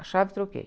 A chave, troquei.